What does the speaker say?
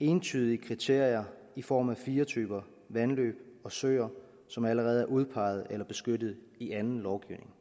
entydige kriterier i form af fire typer vandløb og søer som allerede er udpeget eller beskyttet i anden lovgivning